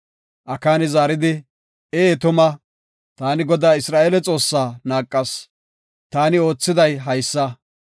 Akaani zaaridi, “Ee tuma, taani Godaa Isra7eele Xoossaa naaqas. Taani oothiday haysa;